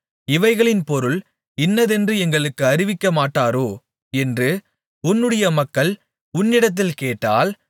இவைகளின் பொருள் இன்னதென்று எங்களுக்கு அறிவிக்கமாட்டீரோ என்று உன்னுடைய மக்கள் உன்னிடத்தில் கேட்டால்